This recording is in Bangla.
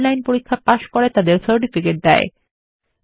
যারা অনলাইন পরীক্ষা পাস করে তাদের সার্টিফিকেট দেয়